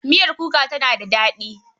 Miyar kuka tana daɗi.